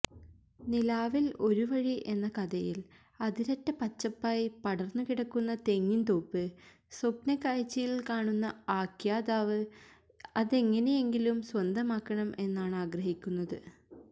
നിലാവിൽ ഒരു വഴി എന്ന കഥയിൽ അതിരറ്റ പച്ചപ്പായി പടർന്നുകിടക്കുന്ന തെങ്ങിൻതോപ്പ് സ്വപ്നക്കാഴ്ചയിൽ കാണുന്ന ആഖ്യാതാവ് അതെങ്ങിനെയെങ്കിലും സ്വന്തമാക്കണം എന്നാണാഗ്രഹിക്കുന്നത്